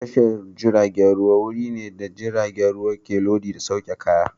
Tashar jiragen ruwa wuri ne da jiragen ruwa ke lodi da sauke kaya.